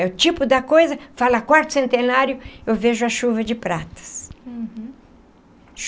É o tipo da coisa, fala Quarto Centenário, eu vejo a chuva de pratas. Uhum.